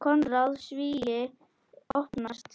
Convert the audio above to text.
Konráð: Svíi opnast.